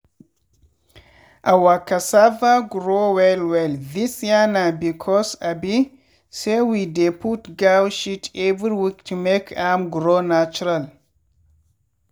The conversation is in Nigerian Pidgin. our cassava grow well well this year na because abi say we dey put goat shit every week to make am grow natural.